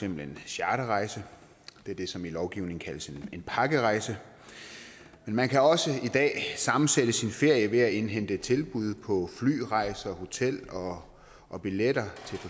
en charterrejse det er det som i lovgivningen kaldes en pakkerejse men man kan også i dag sammensætte sin ferie ved at indhente tilbud på flyrejser hotel og billetter